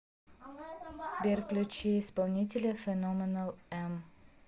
сбер включи исполнителя феноменал эм